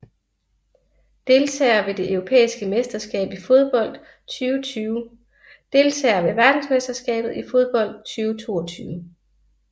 Deltagere ved det europæiske mesterskab i fodbold 2020 Deltagere ved verdensmesterskabet i fodbold 2022